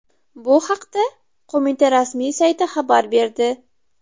Bu haqda Qo‘mita rasmiy sayti xabar berdi .